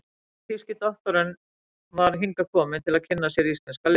en þýski doktorinn var hingað kominn til að kynna sér íslenska list.